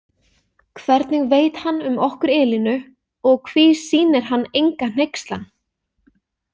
Hvernig veit hann um okkur Elínu og hví sýnir hann enga hneykslan?